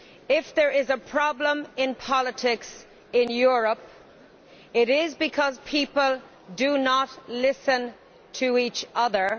If there is a problem in politics in Europe, it is because people do not listen to each other.